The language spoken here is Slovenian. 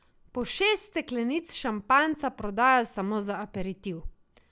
Po šest steklenic šampanjca prodajo samo za aperitiv.